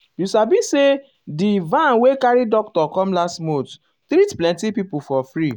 um you sabi say di um van wey carry doctor come last month treat plenty people for free.